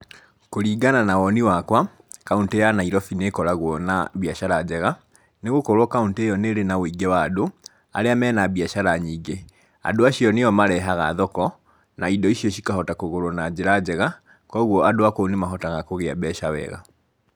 Kũringana na woni wakwa, kauntĩ ya Nairobi nĩ ĩkoragwo na biacara njega, nĩ gũkorwo kauntĩ ĩyo nĩ ĩrĩ na ũingĩ wa andũ, arĩa me na biacara nyingĩ. Andũ acio nĩo marehaga thoko, na indo icio cikahota kũgũrwo na njĩra njega, koguo andũ a kũu nĩ mahotaga kũgĩa mbeca wega.